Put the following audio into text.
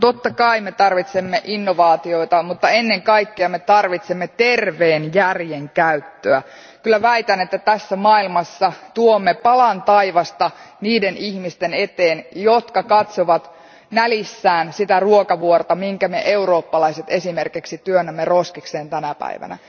Totta kai me tarvitsemme innovaatioita, mutta ennen kaikkea me tarvitsemme terveen järjen käyttöä. Kyllä väitän, että tässä maailmassa tuomme palan taivasta niiden ihmisten eteen, jotka katsovat nälissään ruokavuorta, minkä me eurooppalaiset esimerkiksi työnnämme roskikseen tänä päivänä.